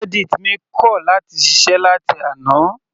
Reddit mi kọ̀ láti ṣiṣẹ́ láti àná.